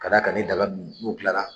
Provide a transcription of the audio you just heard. Ka da ka ni daga nunnu n'o kilala.